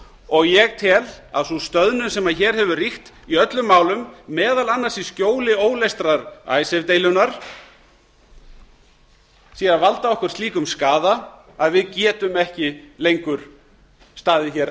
og ég tel að sú stöðnun sem hér hefur ríkt í öllum málum meðal annars í skjóli óleystrar icesave deilunnar því að valda okkur slíkum skaða að við getum ekki lengur staðið